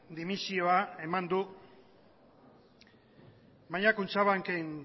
dimisioa eman du baina kutxabanken